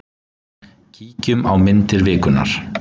Kíkjum á myndir vikunnar.